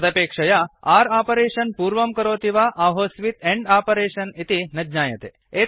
तदपेक्षया or operation पूर्वं करोति वा आहोस्वित् आण्ड् आपरेष्न् इति न ज्ञायते